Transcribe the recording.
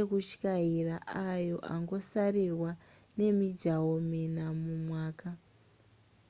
ekutyaira ayo angosarirwa nemijaho mina mumwaka